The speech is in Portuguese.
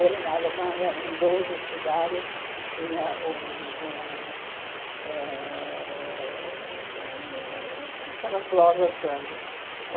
Ele, na Alemanha, em doze cidades, tinha um um ãh aquelas lojas grandes.